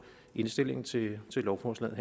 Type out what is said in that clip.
indstilling til lovforslaget